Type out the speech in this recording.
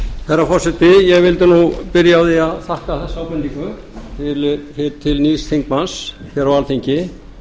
herra forseti ég vildi nú byrja á því að þakka þessa ábendingu til nýs þingmanns á alþingi